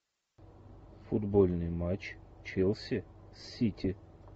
футбольный матч челси с сити